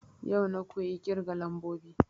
Yau na koyi ƙirga lambobi